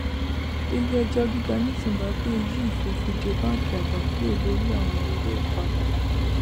ilé ẹjọ gíga ní zimbabwe yí ìfòfindè báńkì àgbà kúrò lórí àwọn owóìpamọ